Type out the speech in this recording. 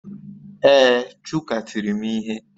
Ee, Chuka tiri m ihe